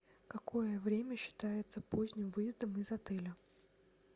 какое время считается поздним выездом из отеля